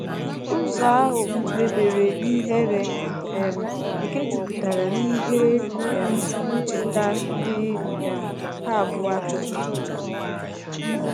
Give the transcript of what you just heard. Ụzo ahu mebere n'ihere um nke juputara n'ihe um ncheta ndi um ha abuo achoghi ikwu